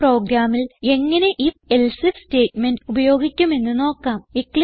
ഒരു പ്രോഗ്രാമിൽ എങ്ങനെ IfElse ഐഎഫ് സ്റ്റേറ്റ്മെന്റ് ഉപയോഗിക്കും എന്ന് നോക്കാം